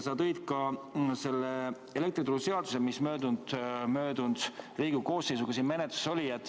Sa tõid esile ka elektrituruseaduse, mis möödunud Riigikogu koosseisu ajal siin menetluses oli.